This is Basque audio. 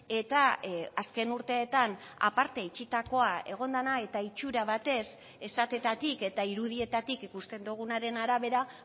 eta azken urteetan aparte itxitakoa egon dena eta itxura batez esateetatik eta irudietatik ikusten dugunaren arabera